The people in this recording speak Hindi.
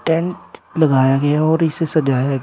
टेंट लगाया गया है और इसे सजाया गया--